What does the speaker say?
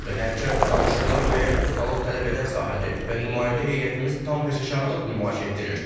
Hərçənd danışıqlar müəyyən ustalıq tələb edən sahədir və nümayəndə heyətimiz tam peşəkarlıq nümayiş etdirir.